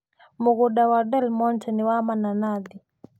Mũgũnda wa Delmonte nĩ wa mananathi.